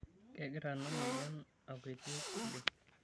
Kegira ina moyian akwetie oleng'.